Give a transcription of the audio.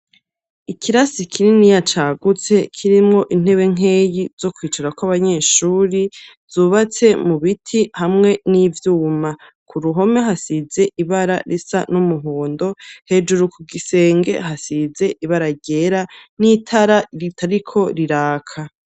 Ikirasi kininiya cagutse kirimwo intebe nkeyi zo kwicarako abanyeshure, zubatse mu biti hamwe n'ivyuma. Ku ruhome hasize ibara risa n'umuhondo, hejuru ku gisenge hasize ibara ryera n'itara ritariko riraka.